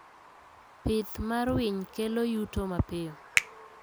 Pith mar winy kelo yuto mapiyo